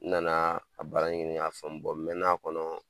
N nana a baara ɲini k'a faamu n mɛɛnn'a kɔnɔ